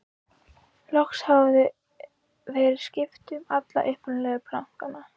loks hafði verið skipt um alla upprunalegu plankana